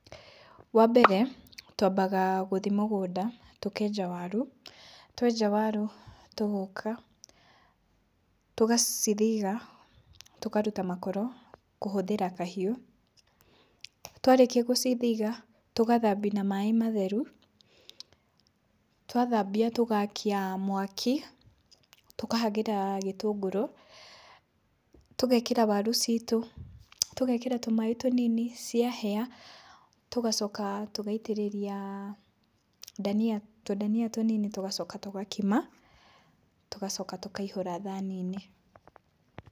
Wambere twambaga gũthiĩ mũgũnda, tũkenja waru. Twenja waru tũgoka tũgacithiga, tũkaruta makoro kũhũthĩra kahiũ. Twarĩkia gũcithiga, tũgathambia na maĩ matheru, twathambia tũgakia mwaki, tũkahagĩra gĩtũngũrũ, tũgekĩra waru citũ, tũgekĩra tũmaĩ tũnini, ciahĩa tũgacoka tũgaitĩrĩria dania tũdania tũnini tũgacoka tũgakima, tũgacoka tũkaihũra thani-inĩ.